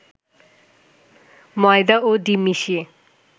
ময়দা ও ডিম মিশিয়ে